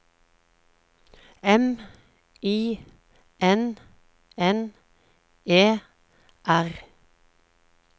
M I N N E R